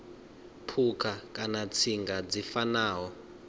phukha kana tsinga dzi fanaho